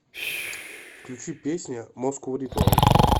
включи песня москоу ритуал